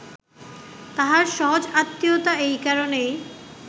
তাঁহার সহজ আত্মীয়তা এই কারণেই